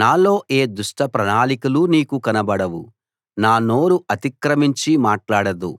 నాలో ఏ దుష్ట ప్రణాళికలూ నీకు కనబడవు నా నోరు అతిక్రమించి మాట్లాడదు